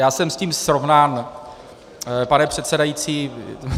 Já jsem s tím srovnán, pane předsedající.